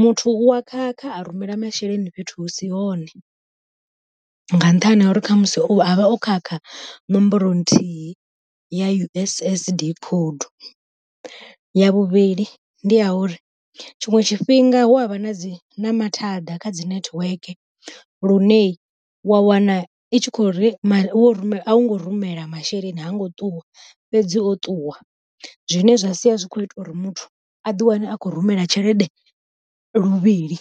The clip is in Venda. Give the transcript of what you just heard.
muthu u wa khakha a rumela masheleni fhethu hu si hone, nga nṱhani ha uri khamusi a vha o khakha ṋomboro nthihi ya U_S_S_D code. Ya vhuvhili ndi ya uri tshiṅwe tshifhinga hu avha na dzi na mathada kha dzi nethiweke, lune wa wana i tshi khouri a u ngo rumela masheleni ha ngo ṱuwa, fhedzi o ṱuwa zwine zwa sia zwi kho ita uri muthu a ḓi wane a khou rumela tshelede luvhili.